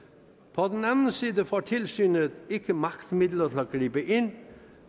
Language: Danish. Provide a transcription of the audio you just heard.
på den anden side får tilsynet ikke magtmidler til at gribe ind